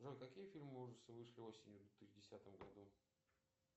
джой какие фильмы ужасов вышли осенью в две тысячи десятом году